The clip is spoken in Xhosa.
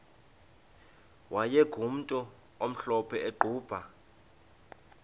wayegumntu omhlophe eqhuba